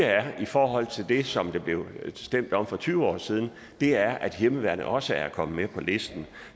i forhold til det som der blev stemt om for tyve år siden er at hjemmeværnet også er kommet med på listen